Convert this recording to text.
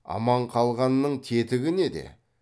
аман қалғанның тетігі неде